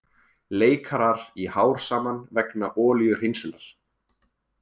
Leikarar í hár saman vegna olíuhreinsunar